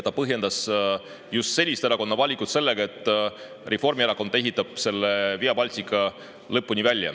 Ta põhjendas just selle erakonna valimist sellega, et Reformierakond ehitab Via Baltica lõpuni välja.